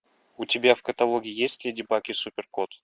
у тебя в каталоге есть леди баг и супер кот